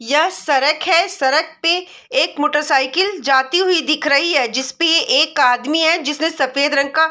यह सरक है सरक पे एक मोटर साइकिल जाती हुई दिख रही है जिसपे ये एक आदमी है जिसने सफ़ेद रंग का --